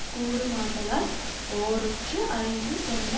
கூடுமாதலால் ஓரொற்று அறிந்து சொன்ன